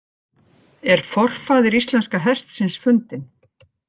Er forfaðir íslenska hestsins fundinn?